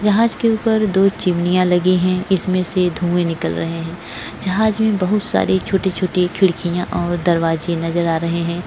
जहाज के ऊपर दो चिमनिया लगी है इसमेंसे धुए निकल रहे है जहाज में बहुत सारी छोटी छोटी खिडकीया और दरवाजे नजर आ रहा है।